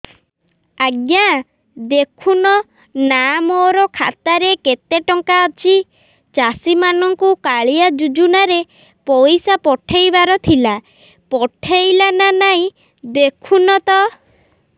ଆଜ୍ଞା ଦେଖୁନ ନା ମୋର ଖାତାରେ କେତେ ଟଙ୍କା ଅଛି ଚାଷୀ ମାନଙ୍କୁ କାଳିଆ ଯୁଜୁନା ରେ ପଇସା ପଠେଇବାର ଥିଲା ପଠେଇଲା ନା ନାଇଁ ଦେଖୁନ ତ